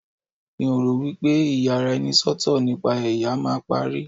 mi o ro wipe iyaraenisọtọ nipa ẹyà ma parí